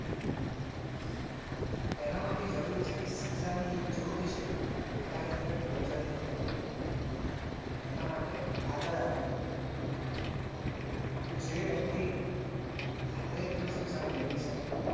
એનાં માટે જરૂરી છે કે શિક્ષાની જે જ્યોત છે એ પોતાની અંદર પ્રજ્વલિત કરવી એનાં માટે આગળ આવવું તો જે વ્યક્તિ ધારે એટલું શિક્ષણ મેળવી શકે.